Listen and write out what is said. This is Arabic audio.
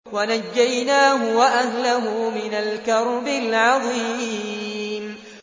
وَنَجَّيْنَاهُ وَأَهْلَهُ مِنَ الْكَرْبِ الْعَظِيمِ